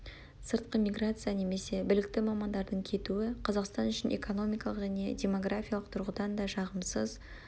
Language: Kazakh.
сыртқы миграция немесе білікті мамандардың кетуі қазақстан үшін экономикалық және демографиялық тұрғыдан да жағымсыз